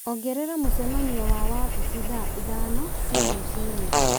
ongerera mũcemanio wa wabici thaa ithano cia rũciinĩ